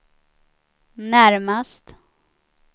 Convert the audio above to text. närmast